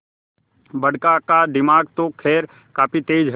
बड़का का दिमाग तो खैर काफी तेज है